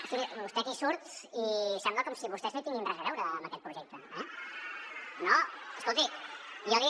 o sigui vostè aquí surt i sembla com si vostès no hi tinguin res a veure en aquest projecte eh no escolti jo li